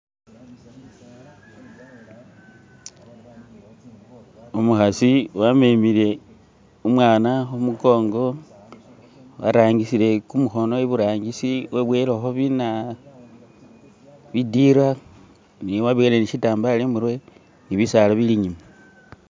Umukasi wamemele umwana kumugongo watangisile gumukono ibutangisi weboyeleko bina.. bidyela ne waboyele shitambala imutwe ne bisala bili'nyuma.